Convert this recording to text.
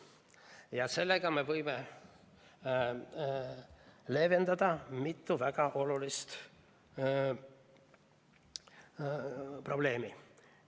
Ja sellega me võime leevendada mitu väga suurt probleemi.